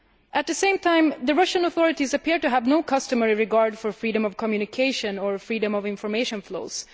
At the same time the Russian authorities appeared to have no regard for freedom of communication or freedom of information flows.